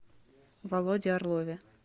володе орлове